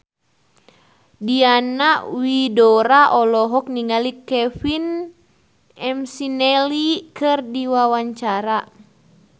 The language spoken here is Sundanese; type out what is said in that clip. Diana Widoera olohok ningali Kevin McNally keur diwawancara